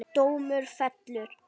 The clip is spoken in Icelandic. Dómur fellur